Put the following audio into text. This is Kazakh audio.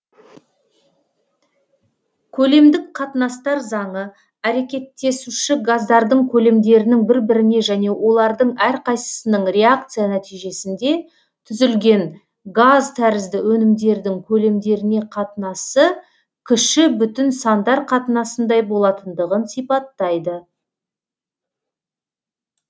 көлемдік қатынастар заңы әрекеттесуші газдардың көлемдерінің бір біріне және олардың әрқайсысының реакция нәтижесінде түзілген газ тәрізді өнімдердің көлемдеріне қатынасы кіші бүтін сандар қатынасындай болатындығын сипаттайды